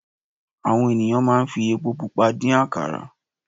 Àwọn ènìyàn máa ń fi epo pupa dín àkàrà.